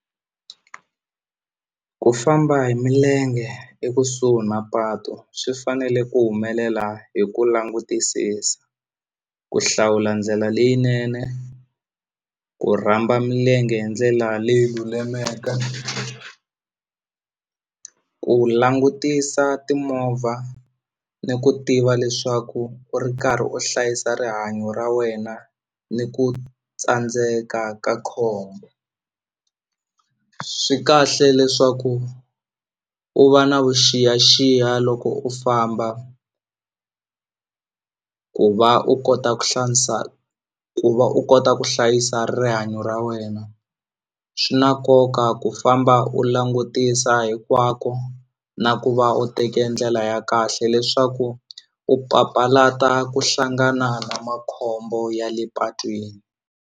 Ku famba hi milenge ekusuhi na patu swi fanele ku humelela hi ku langutisisa ku hlawula ndlela leyinene ku rhamba milenge hi ndlela leyi lulameke ku langutisa timovha ni ku tiva leswaku u ri karhi u hlayisa rihanyo ra wena ni ku tsandzeka ka khombo swi kahle leswaku u va na vuxiyaxiya loko u famba ku va u kota ku hlantswa ku va u kota ku hlayisa rihanyo ra wena swi na nkoka ku famba u langutisa hinkwako na ku va u teke ndlela ya kahle leswaku u papalata ku hlangana na makhombo ya le patwini.